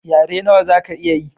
Yare nawa zaka iya ye?